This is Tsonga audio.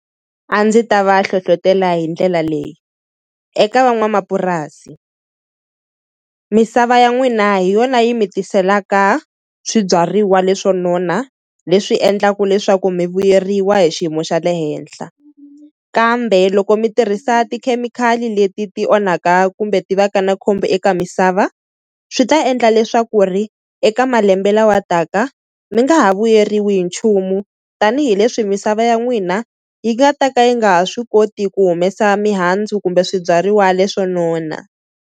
A ndzi ta va hlohlotela hi ndlela leyi. Eka van'wamapurasi misava ya n'wina hi yona yi mi tiselaka swibyariwa leswo nona leswi endlaka leswaku mi vuyeriwa hi xiyimo xa le henhla kambe loko mi tirhisa tikhemikhali leti ti onhaka kumbe ti va ka na khombo eka misava swi ta endla leswaku ri eka malembe lawa taka mi nga ha vuyeriwi hi nchumu tanihileswi misava ya n'wina yi nga ta ka yi nga ha swi koti ku humesa mihandzu kumbe swibyariwa leswo nona.